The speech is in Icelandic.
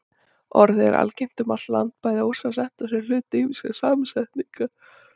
Orðið er algengt um allt land, bæði ósamsett og sem hluti ýmissa samsetninga.